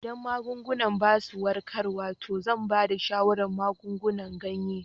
Idan magungunan ba su warkarwa to zan ba da shawarar magungunan ganye.